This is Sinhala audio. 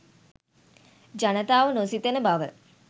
ජනතාව නොසිතන බව